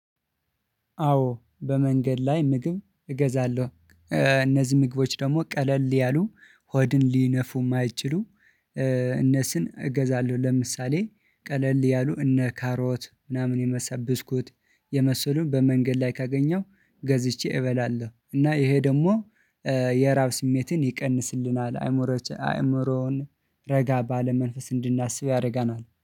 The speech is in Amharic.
አዎ በመንገድ ላይ ምግብ እገዛለሁ። እነዚህ ምግቦች ደግሞ ቀለል ያሉ ሆድን ሊነፉ የማይችሉ እነሱን እገዛለሁ። ለምሳሌ ቀለል ያሉ እነ ካሮት ምናምን የመሰብስኩት የመሰሉን በመንገድ ላይ ካገኘው ገዝቼ እበላለሁ። እና ይሄ ደግሞ የራብ ስሜትን ይቀንስልናል። አእምሮን አእምሮን ረጋ ባለ መንፈስ እንድናስብ ያደርገናል።